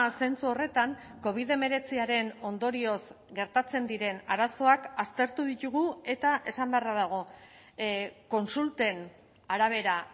zentzu horretan covid hemeretziaren ondorioz gertatzen diren arazoak aztertu ditugu eta esan beharra dago kontsulten arabera